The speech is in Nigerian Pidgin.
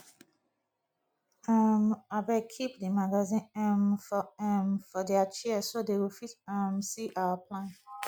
um abeg keep the magazine um for um for their chair so dey go fit um see our plan